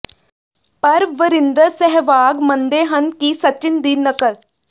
ਪਰ ਵਰਿੰਦਰ ਸਹਿਵਾਗ ਮੰਨਦੇ ਹਨ ਕਿ ਸਚਿਨ ਦੀ ਨਕਲ